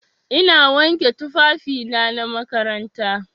Ina wanke tufafina na makaranta.